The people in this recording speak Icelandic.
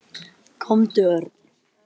Komdu, Örn.